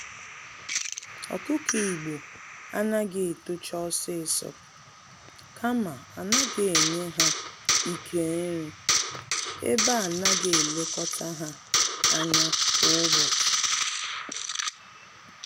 Ọkụkọ Igbo anaghị etocha ọsịsọ, kama anaghị enye ha Ike nri, ebe anaghị elekọta ha ányá kwa ụbọchị.